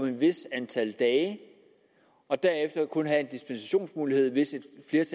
et vist antal dage og derefter kun have en dispensationsmulighed hvis et